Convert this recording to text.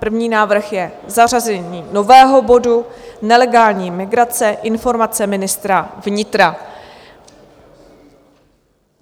První návrh je zařazení nového bodu Nelegální migrace - informace ministra vnitra.